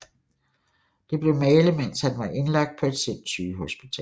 Det blev malet mens han var indlagt på et sindssygehospital